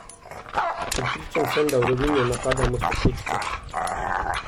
Prepričan sem, da v Rovinju napadamo stopničke.